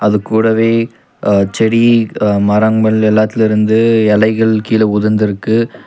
அது கூடவே அ செடி அ மரங்கள் எல்லாத்துலருந்து எலைகள் கீழ உதிந்திருக்கு.